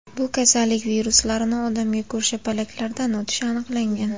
Bu kasallik viruslarini odamga ko‘rshapalaklardan o‘tishi aniqlangan.